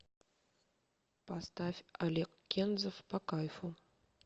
поставь олег кензов по кайфу